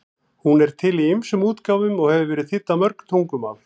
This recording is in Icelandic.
Hún er til í ýmsum útgáfum og hefur verið þýdd á mörg tungumál.